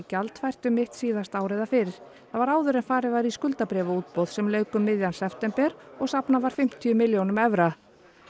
gjaldfært um mitt síðasta ár eða fyrr það var áður en farið var í skuldabréfaútboð sem lauk um miðjan september og safnað var fimmtíu milljónum evra